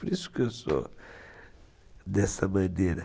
Por isso que eu sou dessa maneira.